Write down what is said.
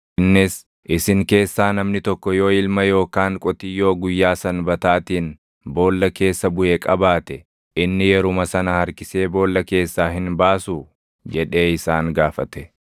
Innis, “Isin keessaa namni tokko yoo ilma yookaan qotiyyoo guyyaa Sanbataatiin boolla keessa buʼe qabaate, inni yeruma sana harkisee boolla keessaa hin baasuu?” jedhee isaan gaafate.